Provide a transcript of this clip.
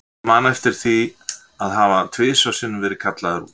Ég man eftir því að hafa tvisvar sinnum verið kallaður út í